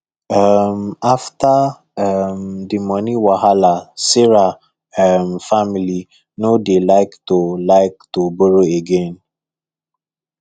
um after um the money wahala sarah um family no dey like to like to borrow again